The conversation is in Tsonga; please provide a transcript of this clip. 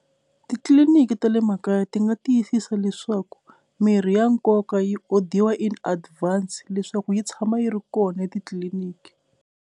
Titliliniki ta le makaya ti nga tiyisisa leswaku mirhi ya nkoka yi odiwa in advance leswaku yi tshama yi ri kona etitliliniki.